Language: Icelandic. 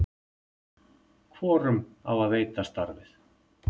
hvorum á að veita starfið